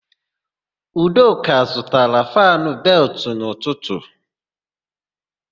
Udoka zụtara fannụ beltụ n'ụtụtụ.